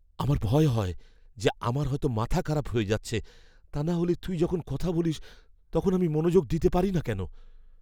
আমার ভয় হয় যে আমার হয়তো মাথা খারাপ হয়ে যাচ্ছে, তা নাহলে তুই যখন কথা বলিস তখন আমি মনোযোগ দিতে পারি না কেন?